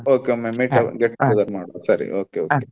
Okay ಒಮ್ಮೆ meet ಆಗುವ get together ಮಾಡುವ ಸರಿ okay okay .